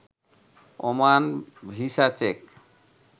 Oman visa check